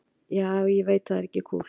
Já, ég veit það er ekki kúl.